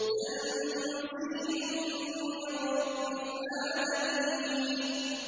تَنزِيلٌ مِّن رَّبِّ الْعَالَمِينَ